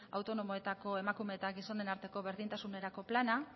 autonomoetako emakume eta gizonen arteko berdintasunerako plana